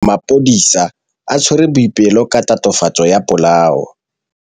Maphodisa a tshwere Boipelo ka tatofatsô ya polaô.